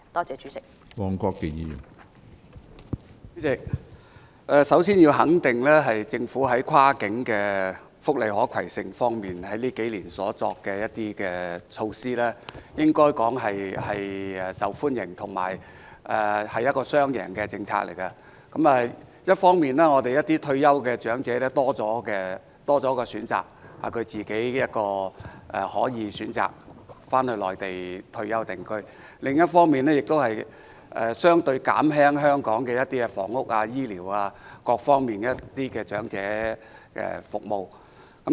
主席，首先，我要肯定政府這幾年在福利跨境可攜性方面所作的措施，可說是受到市民歡迎，而這亦是"雙贏"的政策，一方面，退休長者有更多選擇，可選擇於退休後返回內地定居；另一方面，亦可減輕香港房屋、醫療及各方面的長者服務需求。